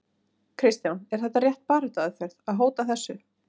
Kristján: Er þetta rétt baráttuaðferð, að hóta þessu?